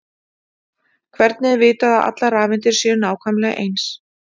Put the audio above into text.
Hvernig er vitað að allar rafeindir séu nákvæmlega eins?